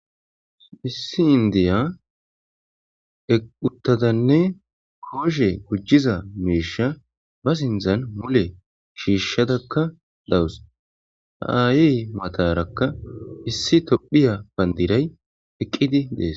Issi indiya euttadanne kooshe gujjiza miisha ba sindzan mule shiishshadakka lawus haayi matarakka issi tophiya bandiray eqqidi dees.